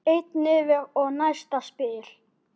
Einn niður og næsta spil.